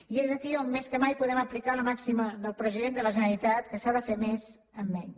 i és aquí on més que mai podem aplicar la màxima del president de la generalitat que s’ha de fer més amb menys